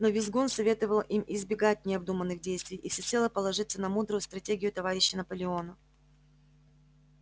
но визгун советовал им избегать необдуманных действий и всецело положиться на мудрую стратегию товарища наполеона